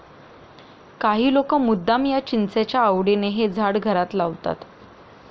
काही लोक मुद्दाम या चिंचेच्या आवडीने हे झाड घरात लावतात.